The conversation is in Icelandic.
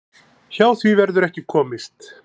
Hjá því verður ekki komist.